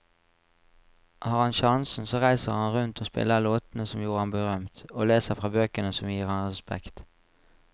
Har han sjansen så reiser han rundt og spiller låtene som gjorde ham berømt, og leser fra bøkene som gir ham respekt.